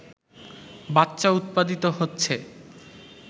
বাচ্চা উৎপাদিত হচ্ছে